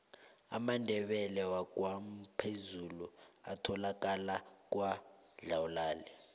amandebele wakwamphezulu atholakala kwadlawulale